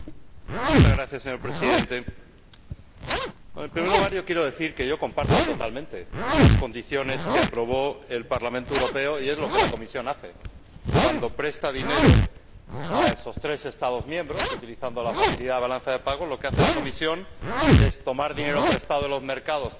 Señor Presidente, en primer lugar, quiero decir que comparto totalmente las condiciones que aprobó el Parlamento Europeo es lo que la Comisión hace cuando presta dinero a esos tres Estados miembros utilizando la facilidad de la balanza de pagos, lo que hace la Comisión es tomar dinero prestado de los mercados, prestárselo